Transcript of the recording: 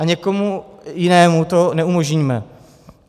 A někomu jinému to neumožníme.